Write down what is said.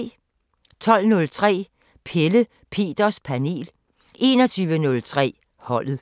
12:03: Pelle Peters Panel 21:03: Holdet